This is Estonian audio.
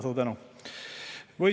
Suur tänu!